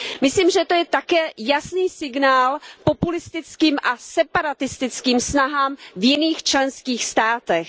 Myslím, že to je také jasný signál populistickým a separatistickým snahám v jiných členských státech.